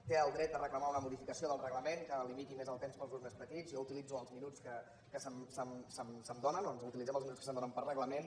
té el dret de reclamar una modificació del reglament que limiti més el temps per als grups més petits jo utilitzo els minuts que se’m donen o utilitzem els minuts que se’ns donen per reglament